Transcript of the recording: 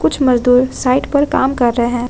कुछ मजदूर साइड पर काम कर रहे हैं।